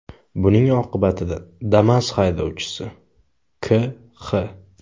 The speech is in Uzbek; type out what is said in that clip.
Buning oqibatida Damas haydovchisi K.X.